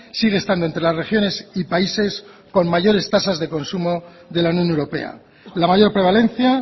sigue estando entre las regiones y países con mayores de tasas de consumo de la unión europea la mayor prevalencia